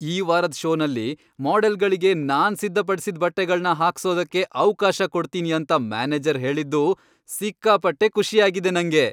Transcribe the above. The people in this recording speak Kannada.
ಈ ವಾರದ್ ಷೋನಲ್ಲಿ ಮಾಡೆಲ್ಗಳ್ಗೆ ನಾನ್ ಸಿದ್ಧಪಡ್ಸಿದ್ ಬಟ್ಟೆಗಳ್ನ ಹಾಕ್ಸೋದಕ್ಕೆ ಅವ್ಕಾಶ ಕೊಡ್ತೀನಿ ಅಂತ ಮ್ಯಾನೇಜರ್ ಹೇಳಿದ್ದು ಸಿಕ್ಕಾಪಟ್ಟೆ ಖುಷಿ ಆಗಿದೆ ನಂಗೆ.